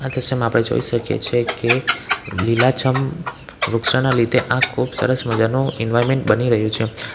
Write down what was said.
દ્રશ્યમાં આપણે જોઈ શકીએ છીએ કે લીલાછમ વૃક્ષોના લીધે આ ખુબ સરસ મજાનો ઇન્વાયમેન્ટ બની રહ્યું છે.